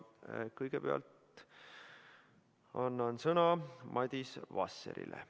Kõigepealt annan sõna Madis Vasserile.